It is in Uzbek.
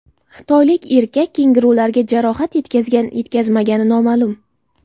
Xitoylik erkak kengurularga jarohat yetkazgan-yetkazmagani noma’lum.